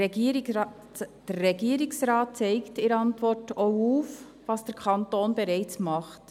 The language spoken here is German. Der Regierungsrat zeigt in der Antwort auf, was der Kanton bereits tut.